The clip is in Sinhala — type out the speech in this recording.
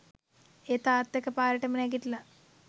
ඒත් තාත්තා එක පාරටම නැගිටලා